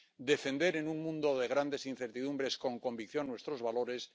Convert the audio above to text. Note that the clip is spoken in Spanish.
defender en un mundo de grandes incertidumbres con convicción nuestros valores